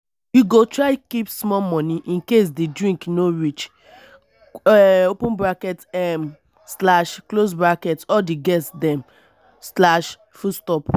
you go try keep small moni incase di drink no reach um all di guest dem.